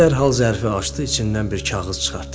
Arvad dərhal zərfi açdı, içindən bir kağız çıxartdı.